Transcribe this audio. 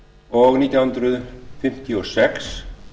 og nítján hundruð fimmtíu og sex